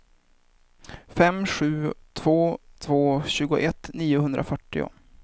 fem sju två två tjugoett niohundrafyrtio